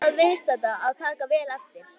Bóndinn bað viðstadda að taka vel eftir.